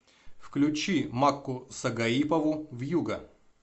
включи макку сагаипову вьюга